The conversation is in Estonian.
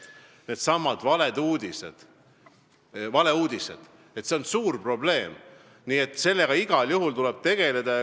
Needsamad valeuudised on suur probleem, nii et selle teemaga tuleb igal juhul tegeleda.